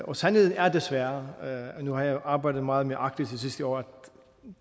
og sandheden er desværre nu har jeg jo arbejdet meget med arktis de sidste år at